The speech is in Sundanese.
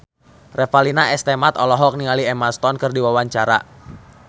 Revalina S. Temat olohok ningali Emma Stone keur diwawancara